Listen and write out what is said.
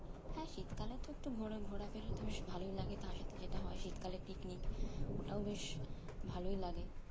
হ্যাঁ শীতকালে তো একটু ঘোরা ঘোড়াফেরাতে বেশ ভালোই লাগে তার সাথে যেটা হয় শীতকালে picnic ওটাও বেশ ভালোই লাগে